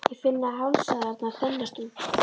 Ég finn að hálsæðarnar þenjast út.